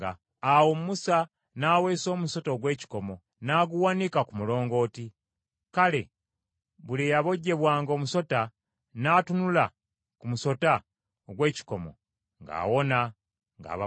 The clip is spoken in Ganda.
Awo Musa n’aweesa omusota ogw’ekikomo, n’aguwanika ku mulongooti. Kale buli eyabojjebwanga omusota n’atunula ku musota ogw’ekikomo, ng’awona, ng’aba mulamu.